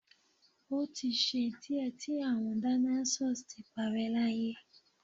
o ti ṣe diẹ ti awọn dinosaurs ti parẹ́ láyé